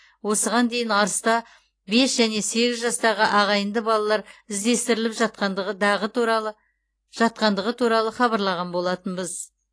осыған дейін арыста бес және сегіз жастағы ағайынды балалар іздестіріліп жатқандығы дағы туралы жатқандығы туралы хабарлаған болатынбыз